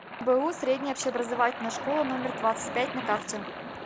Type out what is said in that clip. мбоу средняя общеобразовательная школа номер двадцать пять на карте